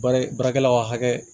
Baara baarakɛlaw ka hakɛ